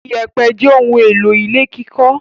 Ìyẹ̀pẹ̀ jẹ́ ohun-èlò ilé kíkọ́.